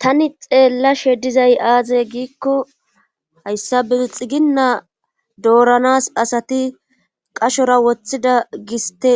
tani xeellashe dizay aazey giikko hayssa be xiginna dooranas asati qashora woththida giste